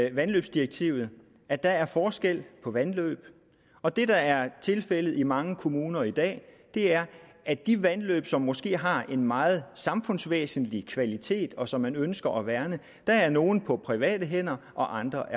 i vandløbsdirektivet at der er forskel på vandløb og det der er tilfældet i mange kommuner i dag er at af de vandløb som måske har en meget samfundsvæsentlig kvalitet og som man ønsker at værne er er nogle på private hænder og andre